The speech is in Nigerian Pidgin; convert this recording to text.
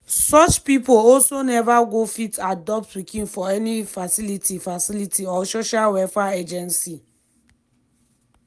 such pipo also neva go fit adopt pikin for any facility facility or social welfare agency.